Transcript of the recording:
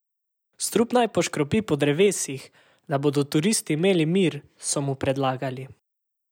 Strup naj poškropi po drevesih, da bodo turisti imeli mir, so mu predlagali.